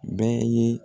Bɛɛ ye